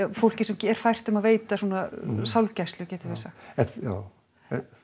fólki sem er fært um að veita sálgæslu getum við sagt já